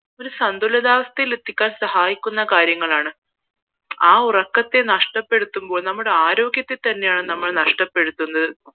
ഒരു സന്ദുലാവസ്ഥയിൽ എത്തിക്കാൻ സഹായിക്കുന്ന കാര്യങ്ങളാണ് ആ ഇറക്കാതെ നഷ്ട്ടപ്പെടുത്തുമ്പോൾ നമ്മുടെ ആരോഗ്യത്തെ തന്നെയാണ് നഷ്ടപ്പെടുത്തുന്നത്